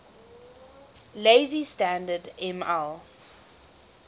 lazy standard ml